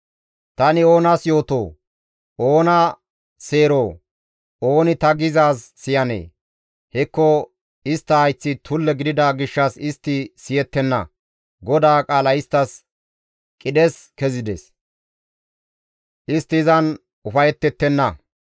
Tani oonas yootoo? Oona seeroo? Ooni ta gizaaz siyanee? hekko istta hayththi tulle gidida gishshas istti siyettenna; GODAA qaalay isttas qidhes kezides; istti izan ufayettettenna.